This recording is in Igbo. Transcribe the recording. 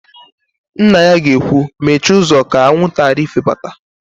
Nna ya ga-ekwu, "mechie ụzọ ka anwụnta ghara ifebata"!